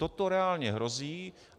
Toto reálně hrozí.